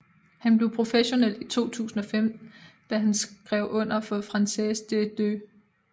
Han blev professionel i 2005 da han skrev under for Française des Jeux